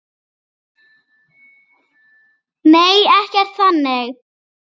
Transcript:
Nei, ekkert þannig